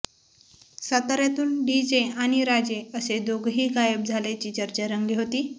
साताऱ्यातून डीजे आणि राजे असे दोघंही गायब झाल्याची चर्चा रंगली होती